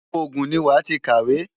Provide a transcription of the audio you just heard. Ogun ni wàá ti kàwé!